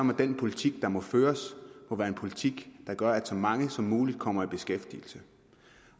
må den politik der må føres være en politik der gør at så mange som muligt kommer i beskæftigelse